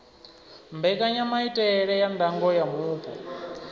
mbekanyamaitele ya ndango ya mupo